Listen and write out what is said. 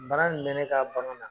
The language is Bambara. Mara in bɛ ne ka bagan na